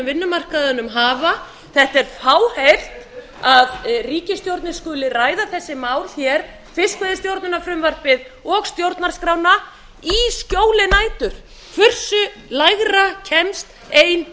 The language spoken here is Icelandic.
vinnumarkaðnum hafa þetta er fáheyrt að ríkisstjórnin skuli ræða þessi mál hér fiskveiðistjórnarfrumvarpið og stjórnarskrána í skjóli nætur hversu lægra kemst ein